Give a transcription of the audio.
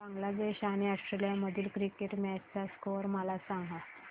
बांगलादेश आणि ऑस्ट्रेलिया मधील cricket match चा स्कोअर मला सांगा